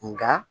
Nka